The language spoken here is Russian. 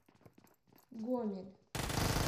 гомель